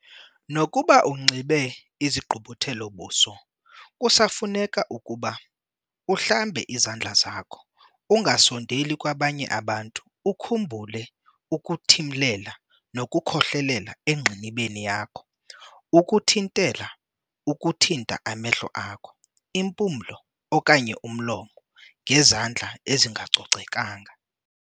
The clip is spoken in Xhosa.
Nokuba unxibe izigqubuthelo-buso kusafuneka ukuba- uhlambe izandla zakho ungasondeli kwabanye abantu ukhumbule ukuthimlela nokukhohlelela engqinibeni yakho ukuthintele ukuthinta amehlo akho, impumlo okanye umlomo ngezandla ezingacocekanga.